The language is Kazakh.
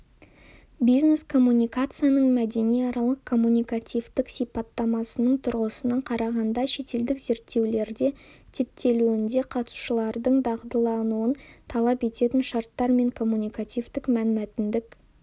бизнес-коммуникацияның мәдениаралық-коммуникативтік сипаттамасының тұрғысынан қарағанда шетелдік зерттеулерде типтелуінде қатысушылардың дағдылануын талап ететін шарттар мен коммуникативтік-мәнмәтіндік